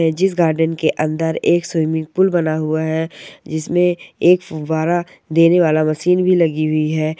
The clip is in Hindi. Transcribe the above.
जिस गार्डन के अंदर एक स्विमिंगपूल बना हुआ है एक फुवारा देने वाला मशीन भी लगी हुई है।